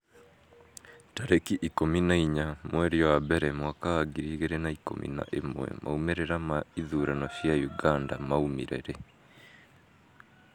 tarĩki ikũmi na inya mweri wa mbere mwaka wa ngiri igĩrĩ na ikũmi na ĩmwemaumĩrĩra ma ithurano cia Uganda maumire rĩ?